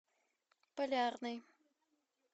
полярный